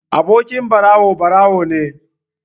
Abokin ɓarawo, ɓarawo ne.